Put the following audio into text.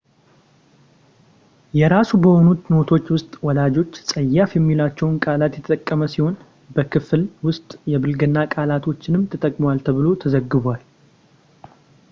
የራሱ በሆኑት ኖቶች ውስጥ ወላጆች ፀያፍ የሚሏቸውን ቃላት የተጠቀመ ሲሆን በክፍል ውስጥ የብልግና ቃላቶችንም ተጠቅሟል ተብሎ ተዘግቧል